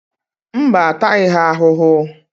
Mba, a taghị ha ahụhụ.